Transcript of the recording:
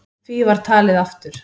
Því var talið aftur.